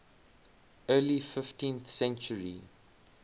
early fifteenth century